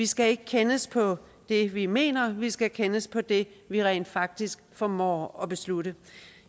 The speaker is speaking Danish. skal kendes på det vi mener vi skal kendes på det vi rent faktisk formår at beslutte